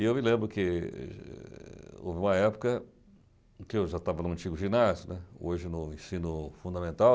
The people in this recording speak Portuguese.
E eu me lembro que... houve uma época em que eu já estava no antigo ginásio, né, hoje no ensino fundamental,